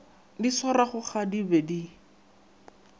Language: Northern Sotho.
di swarwago ga di be